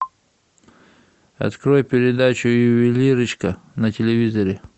открой передачу ювелирочка на телевизоре